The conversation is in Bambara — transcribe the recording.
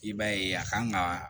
I b'a ye a kan ga